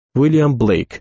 William Blake.